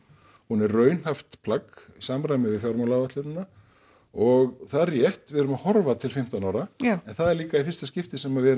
hún er raunhæft plagg í samræmi við fjármálaáætlunina og það er rétt við erum að horfa til fimmtán ára en það er líka í fyrsta skipti sem við